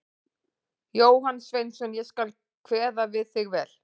Jóhann Sveinsson: Ég skal kveða við þig vel.